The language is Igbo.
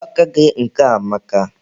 Mgba aka gị nke a amaka.